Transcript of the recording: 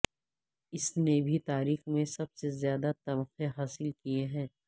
اس نے بھی تاریخ میں سب سے زیادہ تمغے حاصل کیے ہیں